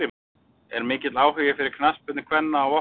Er mikill áhugi fyrir knattspyrnu kvenna á Vopnafirði?